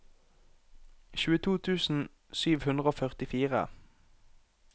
tjueto tusen sju hundre og førtifire